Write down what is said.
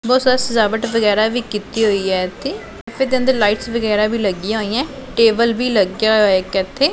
ਬਹੁਤ ਸਾਰੇ ਸਜਾਵਟ ਵਗੈਰਾ ਵੀ ਕੀਤੀ ਹੋਈ ਹ ਇਥੇ ਤੇ ਇਦੇ ਅੰਦਰ ਲਾਈਟਸ ਵਗੈਰਾ ਵੀ ਲੱਗੀਆਂ ਹੋਈਆਂ ਟੇਬਲ ਵੀ ਲੱਗਿਆ ਹੋਇਆ ਇਕ ਇਥੇ।